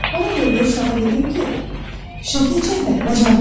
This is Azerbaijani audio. Ona görə də uşağa dedim ki, şəkil çəkməyi bacarmıram.